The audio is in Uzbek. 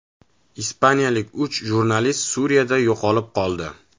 Ispaniyalik uch jurnalist Suriyada yo‘qolib qoldi .